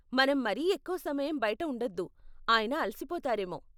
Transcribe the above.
మనం మరీ ఎక్కువ సమయం బయట ఉండొద్దు, ఆయన అలిసిపోతారేమో.